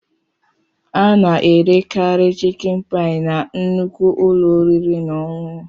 Ana-erekarị chịkin paị na nnukwu ụlọ oriri na ọṅụṅụ.